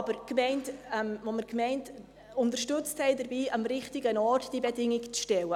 Wir haben die Gemeinde aber darin unterstützt, diese Bedingung am richtigen Ort zu stellen.